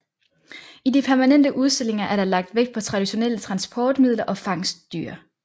I de permanente udstillinger er der lagt vægt på traditionelle transportmidler og fangstdyr